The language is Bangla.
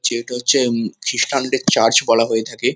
যে এটা হচ্ছে উম খ্রিস্টান -দের চার্চ বলা হয়ে থাকে।